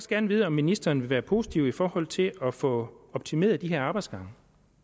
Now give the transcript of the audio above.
gerne vide om ministeren vil være positiv i forhold til at få optimeret de her arbejdsgange